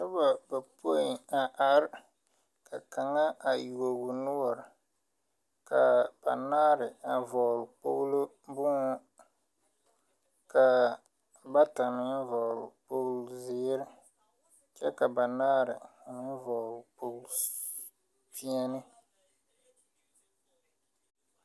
Noba bapoi a are ka kaŋa a yuogɔɔ noɔre kaa banaare a vɔgle kpoglo bonhū kaa bata meŋ vɔgle kpogle zeere kyɛ ka banaare a meŋ vɔgle kpogle pɛ̃ɛ̃ne.